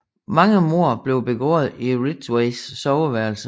Mange mord blev begået i Ridgways soveværelse